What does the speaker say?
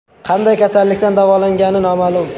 Qanday kasallikdan davolangani noma’lum.